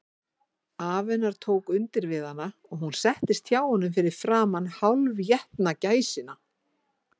Afi hennar tók undir við hana, og hún settist hjá honum fyrir framan hálfétna gæsina.